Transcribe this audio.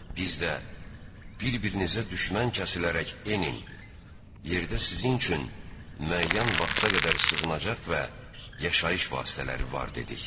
Biz də: “Bir-birinizə düşmən kəsilərək enin, yerdə sizin üçün müəyyən vaxta qədər sığınacaq və yaşayış vasitələri var”, dedik.